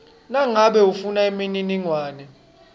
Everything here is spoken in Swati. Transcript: nangabe ufuna imininingwane